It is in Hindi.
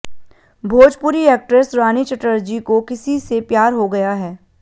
भोजपुरी एक्ट्रेस रानी चटर्जी को किसी से प्यार हो गया है